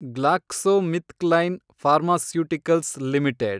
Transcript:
GlaxoSmithKline pharmaceuticals limited